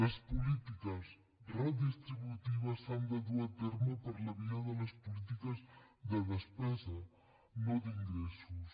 les polítiques redistributives s’han de dur a terme per la via de les polítiques de despesa no d’ingressos